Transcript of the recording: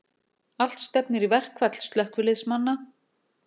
Allt stefnir í verkfall slökkviliðsmanna